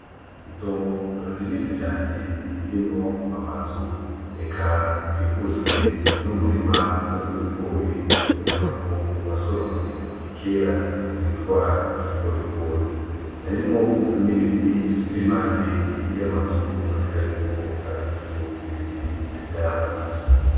Itongo runini cane ririmwo amazu eka akikujwe n'umurima n'umurima w'ibigori ubonekako wasoromwe kera witwa ikigorigori. Harimwo n'ibitit biri impande y'amazu biboneka yuko arivyo biti vy'ivyamwa.